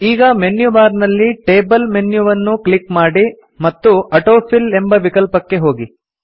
ಈಗ menu bar ನಲ್ಲಿ table menu ವನ್ನು ಕ್ಲಿಕ್ ಮಾಡಿ ಮತ್ತು ಆಟೋಫಿಟ್ ಎಂಬ ವಿಕಲ್ಪಕ್ಕೆ ಹೋಗಿ